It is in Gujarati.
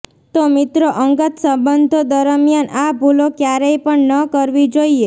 તો મિત્રો અંગત સંબંધો દરમિયાન આ ભૂલો ક્યારેય પણ ન કરવી જોઈએ